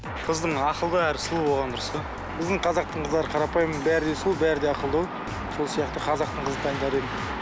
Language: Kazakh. қыздың ақылды әрі сұлу болғаны дұрыс қой біздің қазақтың қыздары қарапайым бәрі де сұлу бәрі де ақылды ғой сол сияқты қазақтың қызын таңдар едім